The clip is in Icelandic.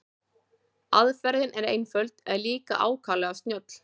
Aðferðin er einföld en líka ákaflega snjöll.